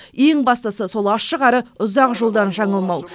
ең бастысы сол ашық әрі ұзақ жолдан жаңылмау